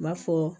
U b'a fɔ